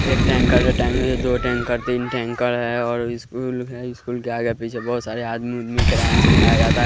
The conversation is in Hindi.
एक टैंकर से दो टैंकर तीन टैंकर है और स्कूल है स्कूल के आगे पीछे बहोत सारे आदमी उदमी किरान से उठाया जाता--